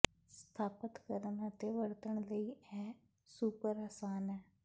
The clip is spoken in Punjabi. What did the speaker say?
ਸਥਾਪਤ ਕਰਨ ਅਤੇ ਵਰਤਣ ਲਈ ਇਹ ਸੁਪਰ ਆਸਾਨ ਹੈ